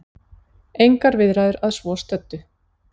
Engar viðræður að svo stöddu